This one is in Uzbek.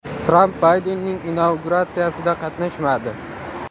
Tramp Baydenning inauguratsiyasida qatnashmadi .